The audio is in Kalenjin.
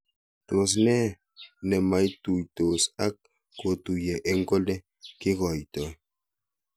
Tos nee ne maitutos ak kotuyo eng' kole kikoitoi